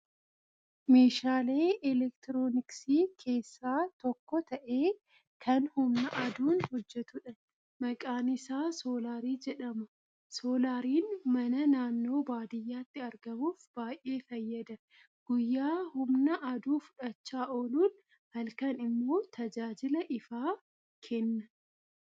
Meeshaalee elektirooniksii keessaa tokko ta'ee, kan humna aduun hojjetudha. Maqaan isaa Soolaarii jedhama. Soolaariin mana naannoo baadiyyaatti argamuuf baay'ee fayyada. Guyyaa humna aduu fudhachaa ooluun halkan immoo tajaajila ifaa kenna.